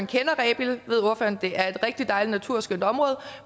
kender rebild ved ordføreren det er et rigtig dejligt naturskønt område